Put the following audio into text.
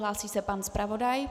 Hlásí se pan zpravodaj.